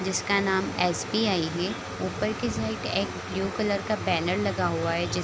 जिस का नाम एस.बी.आई. है | ऊपर की साइड एक ब्लू कलर का बैनर लगा हुआ है ज --